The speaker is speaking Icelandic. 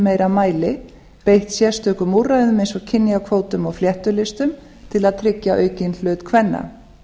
meira mæli beitt sérstökum úrræðum eins og kynjakvótum og fléttulistum til að tryggja aukinn hlut kvenna